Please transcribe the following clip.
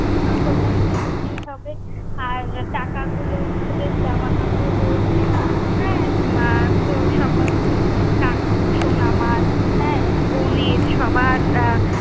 দিতেই হবে, আর টাকা গুলো তোদের জামা কাপড় রয়েছে। হ্যাঁ, তো সমস্ত, কাকু, সোনা মার, হ্যা বোনের সবার আহ